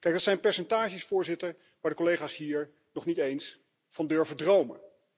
Dit zijn percentages, voorzitter, waar de collega's hier nog niet eens van durven te dromen.